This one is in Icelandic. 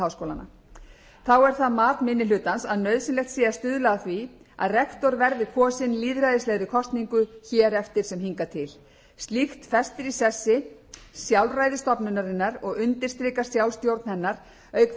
þá er það mat minni hlutans að nauðsynlegt sé að stuðla að því að rektor verði kosinn lýðræðislegri kosningu hér eftir sem hingað til slíkt festir í sessi sjálfræði stofnunarinnar og undirstrikar sjálfstjórn hennar auk